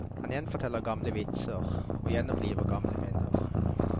Han gjenforteller gamle vitser og gjenoppliver gamle minner.